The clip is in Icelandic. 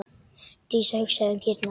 Dísa hugsaði um kýrnar.